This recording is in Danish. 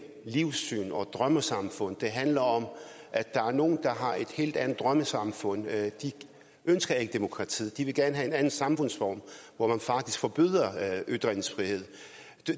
livssyn og drømmesamfundet det handler om at der er nogle der har et helt andet drømmesamfund de ønsker ikke demokratiet og de vil gerne have en anden samfundsform hvor man faktisk forbyder ytringsfrihed